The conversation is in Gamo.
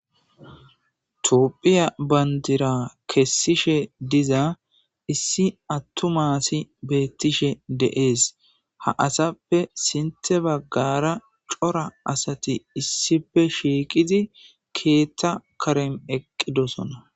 tophiya bandira kessishe diza issi attu maasi beettishe deees ha asappe sinte baggara cora asati issife shiiqizi keethta karem eqqidosona